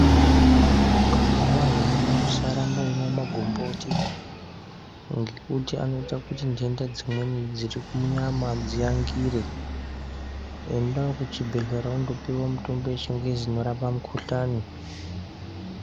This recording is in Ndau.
Kana warwara usaramba kumwa magomboti, ngekuti anoyita kuti ndenda dzimweni dzirikunyama dziyangire. Enda kuchibhedhlera undopiwa mutombo yechingezi inorapa mukhuhlane.